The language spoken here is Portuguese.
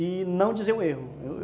e não dizer o erro.